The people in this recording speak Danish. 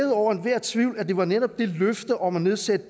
over enhver tvivl at det var netop det løfte om at nedsætte